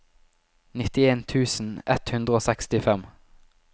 nittien tusen ett hundre og sekstifem